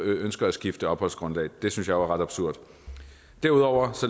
ønsker at skifte opholdsgrundlag det synes er ret absurd derudover